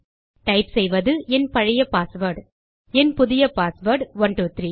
type செய்வது என் பழைய பாஸ்வேர்ட் என் புதிய பாஸ்வேர்ட் 123